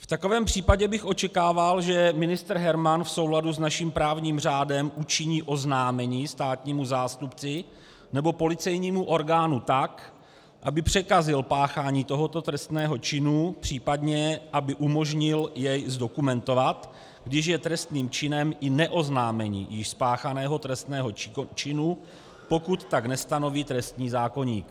V takovém případě bych očekával, že ministr Herman v souladu s naším právním řádem učiní oznámení státnímu zástupci nebo policejnímu orgánu, tak aby překazil páchání tohoto trestného činu, případně aby umožnil jej zdokumentovat, když je trestným činem i neoznámení již spáchaného trestného činu, pokud tak nestanoví trestní zákoník.